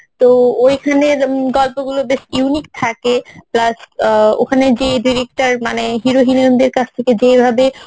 তো ওইখানের উম গল্পগুলো বেশ unique থাকে Plus অ্যাঁ ওখানে যে director মানে hero heroine দের কাছ থেকে যেভাবে